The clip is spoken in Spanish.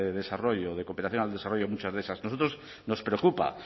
de desarrollo de cooperación al desarrollo muchas de esas a nosotros nos preocupa